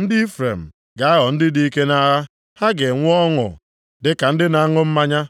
Ndị Ifrem ga-aghọ ndị dị ike nʼagha, ha ga-enwe ọṅụ dịka ndị na-aṅụ mmanya.